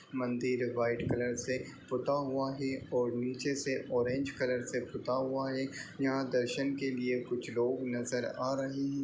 मंदिर है white colour से पुता है और नीचे से ऑरेंज कलर से पुता हुआ है। यहाँ दर्शन के लिए कुछ लोग नज़र आ रहे हैं।